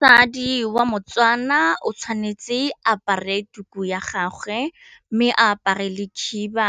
Mosadi wa moTswana o tshwanetse apare tuku ya gagwe mme a apare le khiba